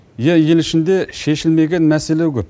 ия ел ішінде шешілмеген мәселе көп